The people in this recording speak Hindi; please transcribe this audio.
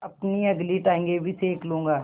अपनी अगली टाँगें भी सेक लूँगा